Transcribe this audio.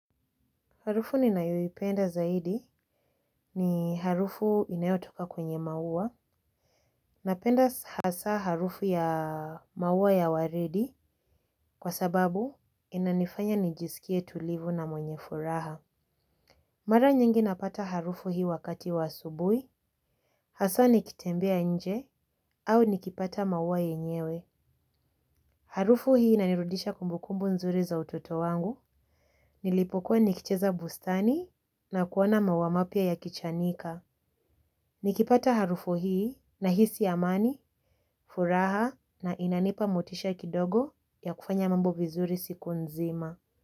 Harufu ninayoipenda zaidi ni harufu inayotoka kwenye maua napenda hasa harufu ya maua ya waridi kwa sababu inanifanya nijiskie tulivu na mwenye furaha. Mara nyingi napata harufu hii wakati wa asubuhi. Hasa nikitembea nje au nikipata maua yenyewe. Harufu hii inanirudisha kumbukumbu nzuri za utoto wangu. Nilipokuwa nikicheza bustani na kuona maua mapya yakichanika. Nikipata harufu hii nahisi amani, furaha na inanipa motisha kidogo ya kufanya mambo vizuri siku nzima.